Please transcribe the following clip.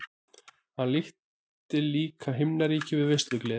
Hann líkti líka himnaríki við veislugleði.